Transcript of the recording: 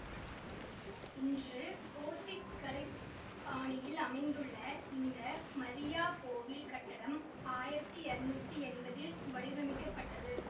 இன்று கோத்திக் கலை பாணியில் அமைந்துள்ள இந்த மரியா கோவில் கட்டடம் ஆயிரத்தி இரநூத்தி எம்பதில் வடிவமைக்கப்பட்டது